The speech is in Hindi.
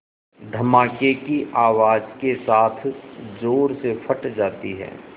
धमाके की आवाज़ के साथ ज़ोर से फट जाती है